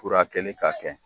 Furakɛli ka kɛ.